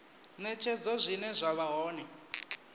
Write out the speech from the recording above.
netshedzo zwine zwa vha hone